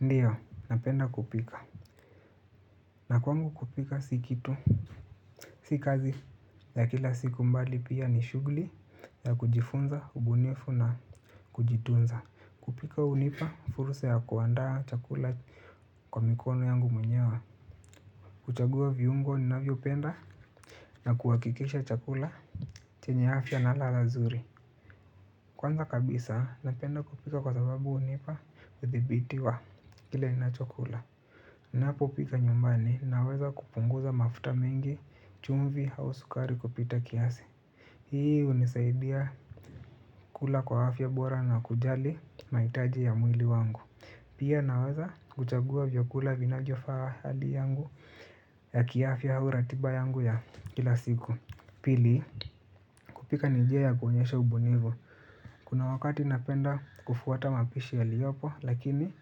Ndio, napenda kupika. Na kwangu kupika si kitu. Si kazi ya kila siku mbali pia ni shughuli ya kujifunza, ubunifu na kujitunza. Kupika hunipa fursa ya kuandaa chakula kwa mikono yangu mwenyewa. Kuchagua viungo ninavyopenda na kuhakikisha chakula. Chenye afya na ladha zuri. Kwanza kabisa napenda kupika kwa sababu hunipa uthibitisho kile ninacho kula. Ninapopika nyumbani ninaweza kupunguza mafuta mengi, chumvi au sukari kupita kiasi. Hii hunisaidia kula kwa afya bora na kujali mahitaji ya mwili wangu. Pia naweza kuchagua vyakula vinavyofaa hali yangu ya kiafya au ratiba yangu ya kila siku. Pili kupika ni njia ya kuonyesha ubunifu. Kuna wakati napenda kufuata mapishi yaliopo lakini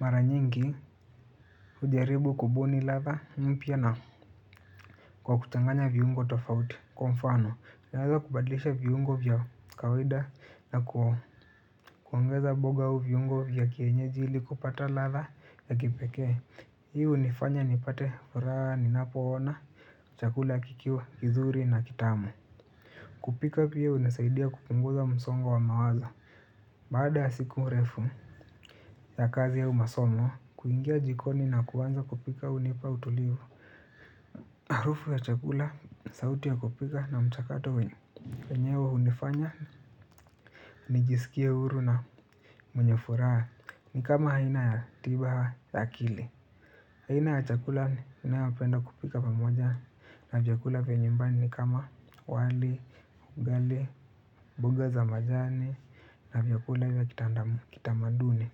mara nyingi hujaribu kubuni ladha mpya na kwa kuchanganya viungo tofauti. Kwa mfano, naweza kubadlisha viungo vya kawida na kuongeza mboga au viungo vya kienyeji ili kupata ladha ya kipekee. Hi hunifanya nipate furaha ninapoona, chakula kikiwa kizuri na kitamu. Kupika pia hunisaidia kupunguza msongo wa mawazo. Baada ya siku refu ya kazi au masomo, kuingia jikoni na kuanza kupika hunipa utulivu. Harufu ya chakula, sauti ya kupika na mchakato wenyewe hunifanya, nijisikie huru na mwenye furaha. Ni kama aina ya tiba ya akili. Aina ya chakula ninayopenda kupika pamoja na chakula vya nyumbani ni kama wali, ugali, mboga za majani na vyakula vya kitamaduni.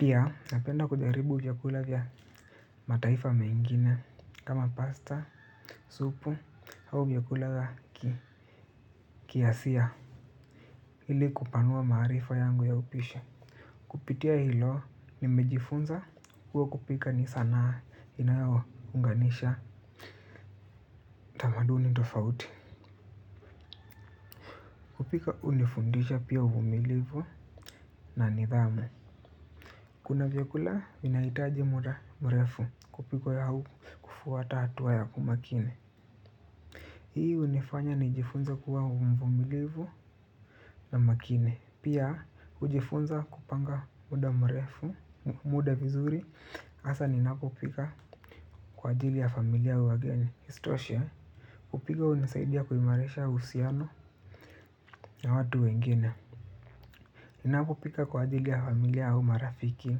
Pia napenda kujaribu vyakula vya mataifa mengine kama pasta, supu au vyakula kiasia ili kupanua maarifa yangu ya upishi. Kupitia hilo nimejifunza kuwa kupika ni sanaa inayounganisha tamaduni tofauti. Kupika hunifundisha pia uvumilivu na nidhamu. Kuna vyakula vinahitaji muda mrefu kupikwa au kufuata hatua ya umakini. Hii hunifanya nijifunze kuwa mvumilivu na makini. Pia hujifunza kupanga muda mrefu, muda vizuri hasa ninapopika kwa ajili ya familia au wageni. Isitoshe, kupika hunisaidia kuimarisha uhusiano na watu wengine. Ninapopika kwa ajili ya familia au marafiki,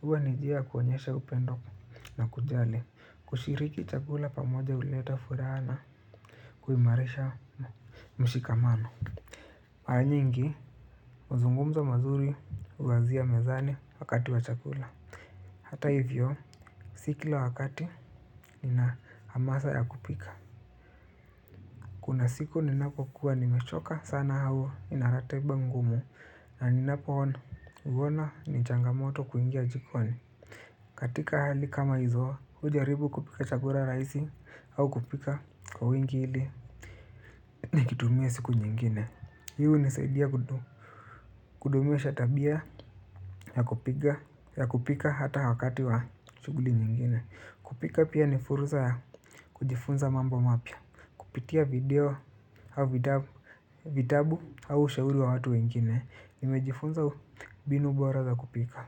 huwa ni njia ya kuonyesha upendo na kujali. Kushiriki chakula pamoja huleta furaha na kuimarisha mshikamano. Mara nyingi mazungumzo mazuri huanzia mezani wakati wa chakula. Hata hivyo si kila wakati nina hamasa ya kupika. Kuna siku ninapokuwa nimechoka sana au nina ratiba ngumu na ninapo uona ni changamoto kuingia jikoni. Katika hali kama hizo, hujaribu kupika chakula rahisi au kupika kwa wingi ili nikitumie siku nyingine. Hii hunisaidia kudumisha tabia ya kupika hata wakati wa shughuli nyingine. Kupika pia ni fursa ya kujifunza mambo mapya. Kupitia video au vitabu. Vitabu au ushauri wa watu wengine. Nimejifunza mbinu bora za kupika.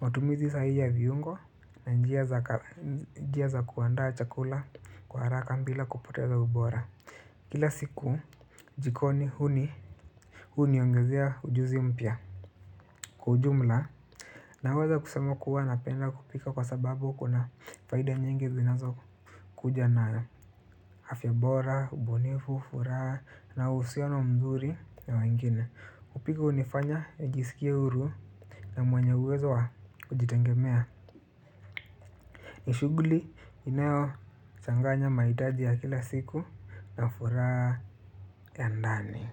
Matumizi sahihi ya viungo na njia za kuandaa chakula kwa haraka bila kupoteza ubora. Kila siku jikoni huniongezea ujuzi mpya. Kwa ujumla, naweza kusema kuwa napenda kupika kwa sababu kuna faida nyingi zinazokuja na afya bora, ubunifu, furaha na uhusiano mzuri na wengine. Kulika hunifanya nijisikie huru na mwenye uwezo wa kujitegemea. Ni shughuli inayochanganya mahitaji ya kila siku na furaha ya ndani.